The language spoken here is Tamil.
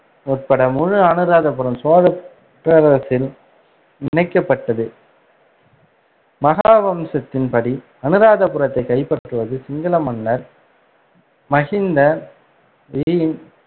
உட்பட முழு அனுராதபுரம் சோழப் பேரரசில் இணைக்கப்பட்டது வம்சத்தின், அனுராதபுரத்தை கைப்பற்றுவது சிங்கள மன்னர் மகிந்த V இன்